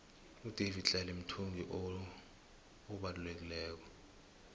udavidtlale mthungi oueleleko